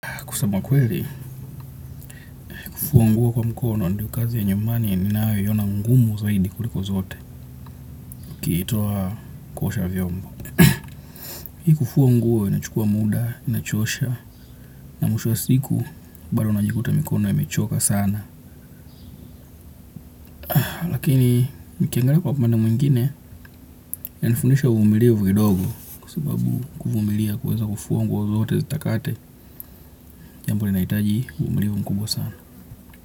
Kusema ukweli, kufua nguo kwa mkono ndio kazi ya nyumbani ninayoiona ngumu zaidi kuliko zote. Ukiitoa kuosha vyombo. Hii kufua nguo inachukua muda, inachosha, na mwisho wa siku, bado unajikuta mikono yamechoka sana. Lakini, nikiangalia kwa upande mwingine, inanifundisha uvumilivu kidogo. Kwa sibabu, kuvumilia kuweza kufua nguo zote zitakate, jambo linahitaji uvumilivu mkubwa sana.